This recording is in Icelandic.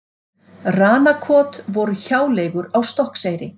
Ranakot voru hjáleigur á Stokkseyri.